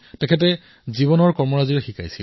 সেৱা তেওঁ শব্দৰে নহয়কামেৰে কৰি দেখুৱাইছিল